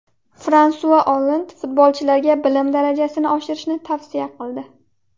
Fransua Olland futbolchilarga bilim darajasini oshirishni tavsiya qildi.